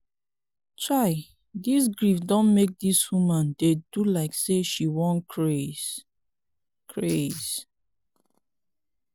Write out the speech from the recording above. chai dis grief don make dis woman dey do like sey she wan craze. craze.